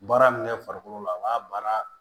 Baara min kɛ farikolo la a b'a baara